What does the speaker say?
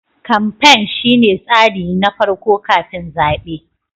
kamfain shine tsari na farko kafin zaɓe.